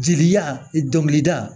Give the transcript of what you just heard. Jeli dɔnkilida